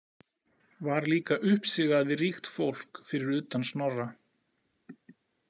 Var líka uppsigað við ríkt fólk, fyrir utan Snorra.